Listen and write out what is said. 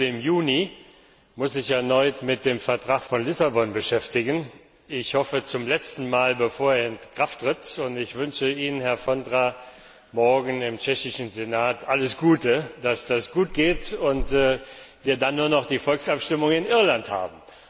Der Gipfel im Juni muss sich erneut mit dem Vertrag von Lissabon beschäftigen hoffentlich zum letzten Mal, bevor er in Kraft tritt. Ich wünsche Ihnen, Herr Vondra, morgen im tschechischen Senat alles Gute, dass das gut geht und wir dann nur noch die Volksabstimmung in Irland haben.